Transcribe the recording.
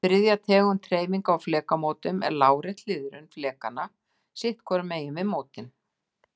Þriðja tegund hreyfinga á flekamótum er lárétt hliðrun flekanna sitt hvorum megin við mótin.